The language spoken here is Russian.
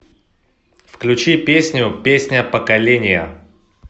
включи песню песня поколения